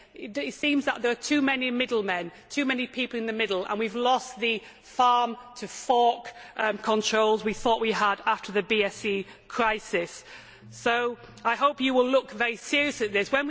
It seems that there are too many middlemen, too many people in the middle, and we have lost the farm to fork' controls we thought we had after the BSE crisis. So I hope that you will look very seriously at this.